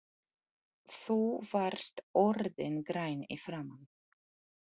Þú varst orðinn grænn í framan.